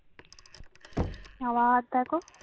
আবার দেখো